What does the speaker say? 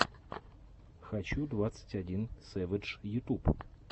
хочу двадцать один сэвэдж ютуб